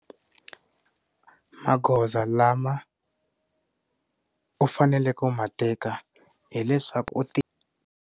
Magoza lama u faneleke ku mateka hileswaku u ti.